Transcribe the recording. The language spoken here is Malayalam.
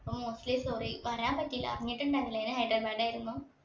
അപ്പൊ mostly sorry വരാൻ പറ്റീല്ല അറിഞ്ഞിട്ടുണ്ടായിരുന്നില്ല ഞാൻ ഹൈദരാബാദിൽ ആയിരുന്നു